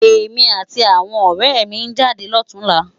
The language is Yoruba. Emi áti áwòn òrè mi n jádé lòtúnlá